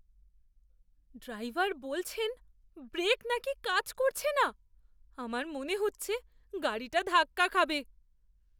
Driver বলছেন brake নাকি কাজ করছে না! আমার মনে হচ্ছে গাড়িটা ধাক্কা খাবে।